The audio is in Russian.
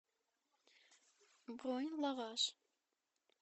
бронь лаваш